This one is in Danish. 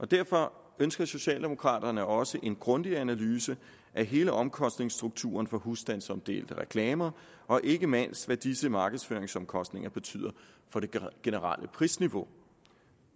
derfor ønsker socialdemokraterne også en grundig analyse af hele omkostningsstrukturen for husstandsomdelte reklamer og ikke mindst hvad disse markedsføringsomkostninger betyder for det generelle prisniveau